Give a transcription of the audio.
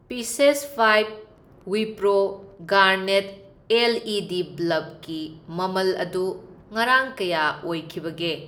Pieces five Wipro garnet L E D ꯕꯜꯕꯀꯤ ꯃꯃꯜ ꯑꯗꯨ ꯉꯔꯥꯡ ꯀꯌꯥ ꯑꯣꯏꯈꯤꯕꯒꯦ?